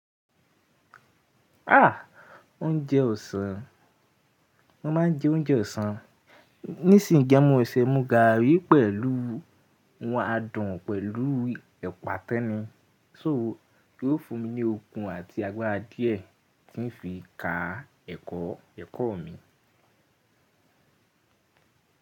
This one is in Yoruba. Ah! Oúnjẹ ọ̀sán, mo máa ń jẹ oúnjẹ ọ̀sán. Nísìń gan an, mo ṣẹ́ mu gààrí pẹ̀lú, adùn pẹ̀lú ẹ̀pà tẹ́nu So yó fún mi ní okun àti agbára díẹ̀ tí ń fi ká ẹ̀kọ́, ẹ̀kọ́ mi.